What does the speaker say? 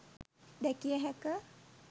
දැකිය හැක.